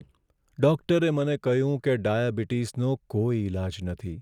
ડૉક્ટરે મને કહ્યું કે ડાયાબિટીસનો કોઈ ઇલાજ નથી.